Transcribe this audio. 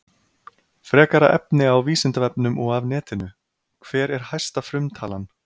Frekara efni á Vísindavefnum og af netinu: Hver er hæsta frumtalan?